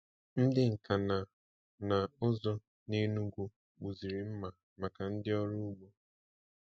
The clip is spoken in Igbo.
Ndị nka na na ụzụ n’Enugwu kpụziri mma maka ndị ọrụ ugbo.